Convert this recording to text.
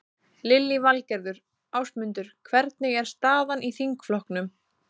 Lillý Valgerður: Ásmundur, hvernig er staðan í þingflokknum?